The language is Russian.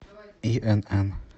инн